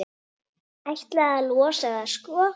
Ætlaði að losa það, sko.